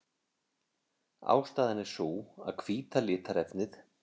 Ástæðan er sú að hvíta litarefnið.